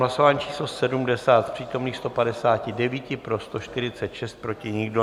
Hlasování číslo 70, z přítomných 159 pro 146, proti nikdo.